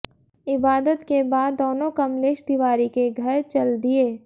इबादत के बाद दोनों कमलेश तिवारी के घर चल दिए